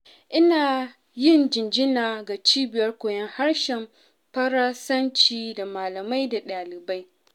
Ina yin jinjina ga cibiyar koyon harshen Faransanci, da malamai da ɗalibai.